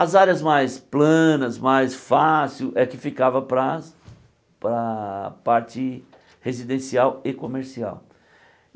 As áreas mais planas, mais fácil, é que ficava para a paara a parte residencial e comercial.